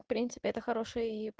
в принципе это хороший